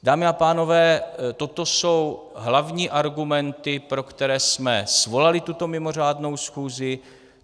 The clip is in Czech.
Dámy a pánové, toto jsou hlavní argumenty, pro které jsme svolali tuto mimořádnou schůzi.